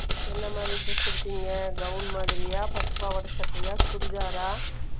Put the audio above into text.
birthday என்ன மாறி dress எடுத்திங்க gown மாதிரியா பட்டு பாவாடை சட்டையை சுடிதாரா